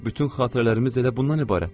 Axı bütün xatirələrimiz elə bundan ibarətdir.